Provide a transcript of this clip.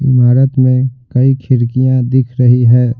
इमारत में कई खिड़कियां दिख रही है।